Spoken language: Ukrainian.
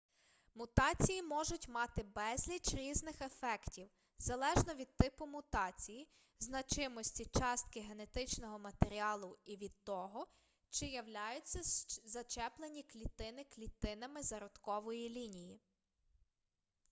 мутації можуть мати безліч різних ефектів залежно від типу мутації значимості частки генетичного матеріалу і від того чи являються зачеплені клітини клітинами зародкової лінії